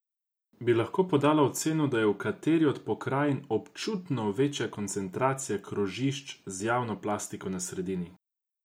Bi lahko podala oceno, da je v kateri od pokrajin občutno večja koncentracija krožišč z javno plastiko na sredini?